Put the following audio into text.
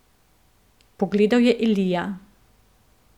Pogledal je Elija.